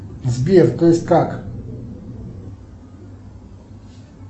сбер то есть как